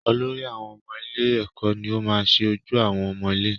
Olórí àwọn ọmọ ilé èkó ni o maá ṣe ojú àwọn ọmọ ilé